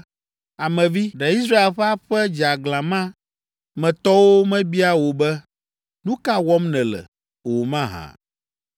“Ame vi, ɖe Israel ƒe aƒe dzeaglã ma me tɔwo mebia wò be, ‘Nu ka wɔm nèle?’ o mahã.